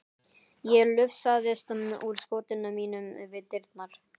Ég lufsaðist úr skotinu mínu við dyrnar.